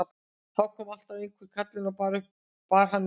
En þá kom alltaf einhver kallinn og bar hana í rúmið.